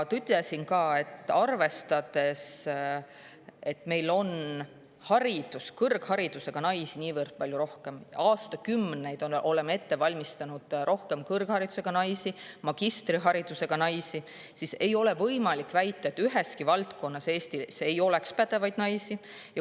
Ütlesin ka seda, et arvestades, et meil on kõrgharidusega naisi niivõrd palju – aastakümneid oleme ette valmistanud rohkem kõrgharidusega naisi, magistriharidusega naisi –, ei ole võimalik väita, et mõnes valdkonnas oleks Eestis pädevaid naisi puudu.